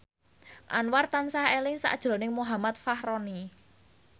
Anwar tansah eling sakjroning Muhammad Fachroni